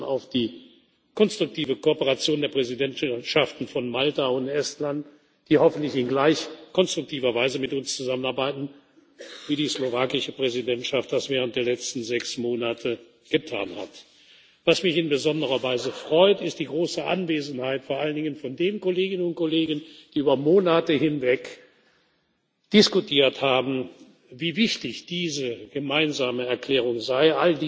Und wir setzen auf die konstruktive Kooperation der Präsidentschaften von Malta und Estland, die hoffentlich in gleich konstruktiver Weise mit uns zusammenarbeiten werden, wie die slowakische Präsidentschaft das während der letzten sechs Monate getan hat. Was mich in besonderer Weise freut, ist die große Anwesenheit vor allen Dingen von den Kolleginnen und Kollegen, die über Monate hinweg diskutiert haben, wie wichtig diese gemeinsame Erklärung